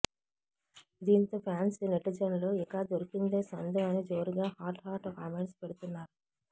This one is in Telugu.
దీంతో ఫ్యాన్స్ నెటిజన్లు ఇక దొరికిందే సందు అని జోరుగా హాట్ హాట్ కామెంట్స్ పెడుతున్నారు